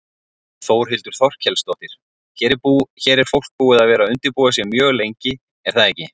Þórhildur Þorkelsdóttir: Hér er fólk búið að vera undirbúa sig mjög lengi er það ekki?